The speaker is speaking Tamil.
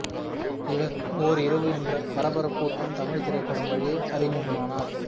இவர் ஓர் இரவு என்ற பரபரப்பூட்டும் தமிழ் திரைப்படம் வழியே அறிமுகமானார்